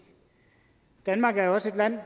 danmark er også et land